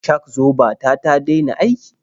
Shak-zoba ta ta dena aiki.